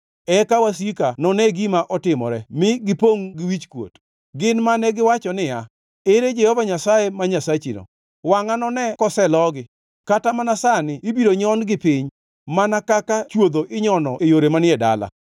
Eka wasika none gima otimore mi ginipongʼ gi wichkuot, gin mane giwacho niya, “Ere Jehova Nyasaye ma Nyasachino?” Wangʼa none koselogi; kata mana sani ibiro nyon-gi piny, mana kaka chwodho inyono e yore manie dala.